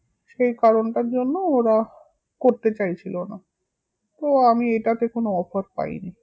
সেই কারণটার জন্য ওরা করতে চাইছিলো না, তো আমি এটাতে কোনো offer পাইনি